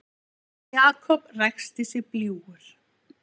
Jakob ræskti sig bljúgur.